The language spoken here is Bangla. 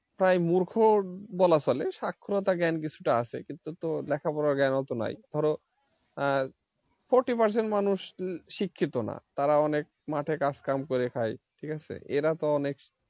প্রায় মূর্খ বলা চলে সাক্ষরতা জ্ঞান কিছুটা আছে কিন্তু তো লেখাপড়া জ্ঞান অত নাই ধরো আহ forty percent মানুষ শিক্ষিত না তারা অনেক মাঠে কাজ কাম করে খায় ঠিক আছে এরা তো অনেক,